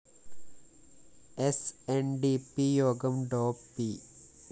സ്‌ N D P യോഗം ഡോ പി